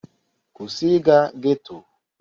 Kwụsị ịga getto!